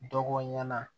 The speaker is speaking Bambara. Dɔgɔ ɲana